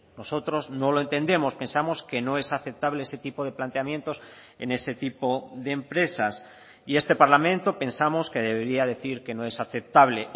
nosotros no lo entendemos pensamos que no es aceptable ese tipo de planteamientos en ese tipo de empresas y este parlamento pensamos que debería decir que no es aceptable